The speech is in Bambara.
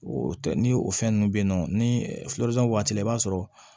O tɛ ni o fɛn ninnu bɛ yen nɔ ni waati la i b'a sɔrɔ